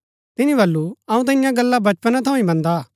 तिनी वलू अऊँ ता ईयां गल्ला बचपना थऊँ ही मन्दा आ